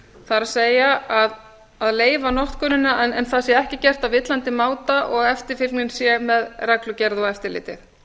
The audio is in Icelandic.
lagt það er að leyfa notkunina en það sé ekki gert á villandi máta og eftirfylgni sé með reglugerð og eftirliti